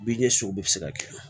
Bin ɲɛsuguw bɛ se ka kɛ